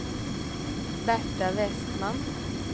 Berta Westman